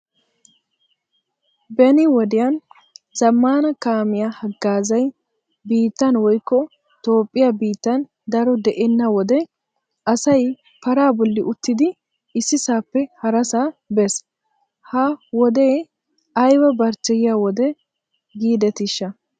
Beni wodiyan zammaana kamiyaa haggazay biittan woykko toophphiyaa biittan daro de'eena wode asay para bolli uttidi issisappe harassa bees. Ha wode ayba barchcheyiya wode gidetisha.